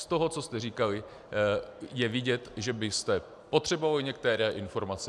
Z toho, co jste říkali, je vidět, že byste potřebovali některé informace.